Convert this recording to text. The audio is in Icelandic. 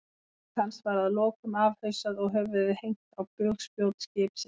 Lík hans var að lokum afhausað og höfuðið hengt á bugspjót skipsins.